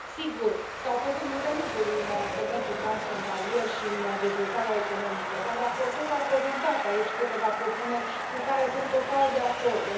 Sigur, s au făcut multe lucruri în comerțul transfrontalier și în dezvoltarea economică, dar raportorul a prezentat aici câteva propuneri cu care sunt total de acord.